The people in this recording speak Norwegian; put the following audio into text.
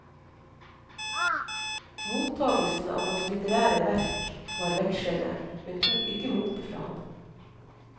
Mottagelsen av hans litterære verk var vekslende, men tok ikke motet fra ham.